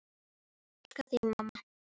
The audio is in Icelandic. Ég elska þig mamma.